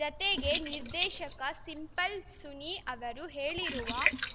ಜತೆಗೆ ನಿರ್ದೇಶಕ ಸಿಂಪಲ್‌ ಸುನಿ ಅವರು ಹೇಳಿರುವ